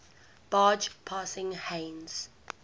barge passing heinz